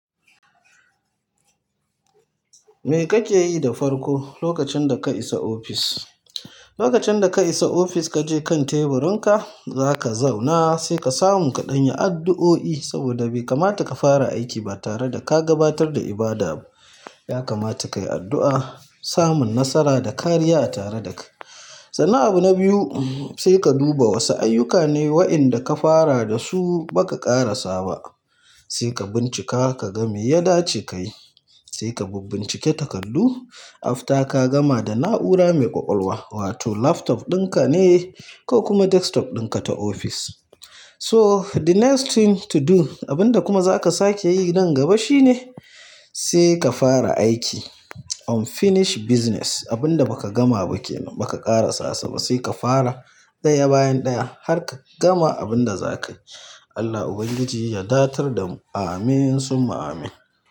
Me kake yi da farko lokacin da ka isa ofis? Lokacin da ka isa ofis, ka je kan teburinka, zaka zauna sai ka samu ka ɗan yi addu'o'i, saboda bai kamata ka fara aiki ba tare da ka gabatar da ibada ba. Ya kamata kayi addu'a, samun nasara da kariya a tare da ka. Sannan abu na biyu, sai ka duba wasu ayyuka ne waɗanda ka fara da su baka ƙarasa ba. Sai ka bincika ka ga me ya dace kayi. Sai ka bibbincike takardu, after ka gama da na'ura mai ƙwaƙwalwa wato laptop ɗinka ne ko kuma desktop ɗinka ta ofis. So, the next thing to do, abinda kuma zaka sake yi nan gaba shine sai ka fara aiki. Unfinished business, abinda baka gama ba kenan, baka ƙarasa sa ba sai ka fara. Ɗaya bayan ɗaya har ka gama abinda zaka yi. Allah Ubangiji ya datar da mu. Amin summa amin.